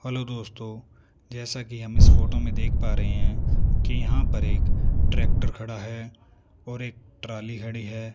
Hello दोस्तों जैसा कि हम इस फोटो में देख पा रहे हैं कि यहां पर एक ट्रैक्टर खड़ा है और एक ट्राली खड़ी है।